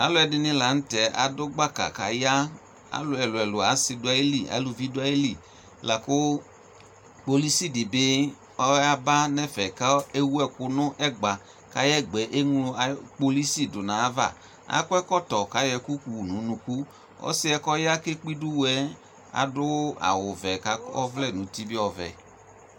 Alʋ ɛdini la nʋ tɛ adʋ gbaka k'aya Alʋ ɛlʋɛlʋ, asi dʋ ayili, aluvi dʋ ayili la kʋ kpolʋsi di bi ɔyaba nɛfɛ kʋ ɛwʋ ɛkʋ n'ɛgba Kʋ ayɛ gba yɛ eŋlo kpolʋsi dʋ nʋ ayava Akɔ ɛkɔtɔ kʋ ayɔ ɛkʋ wu nʋ unuku Ɔsi yɛ kɔya kekpe idu wʋ yɛ adʋ awʋ vɛ kʋ akɔ ɔvlɛ nʋ uti bi ɔvɛ